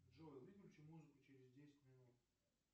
джой выключи музыку через десять минут